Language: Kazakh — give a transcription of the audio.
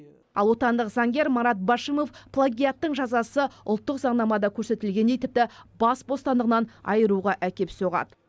ал отандық заңгер марат башимов плагиаттың жазасы ұлттық заңнамада көрсетілгендей тіпті бас бостандығынан айыруға әкеп соғады